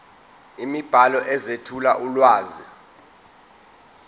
imibhalo ezethula ulwazi